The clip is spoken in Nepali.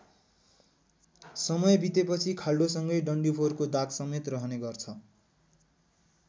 समय बितेपछि खाल्डोसँगै डन्डीफोरको दागसमेत रहने गर्छ।